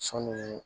Sɔɔni